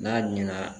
N'a ɲɛna